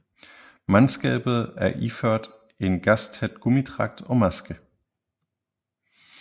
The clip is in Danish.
Mandskabet er iført en gastæt gummidragt og maske